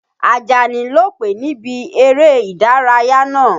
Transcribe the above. Àjàní lòpè níbi eré ìdárayá náà.